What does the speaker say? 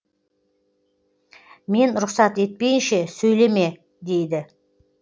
мен рұқсат етпейінше сөйлеме дейді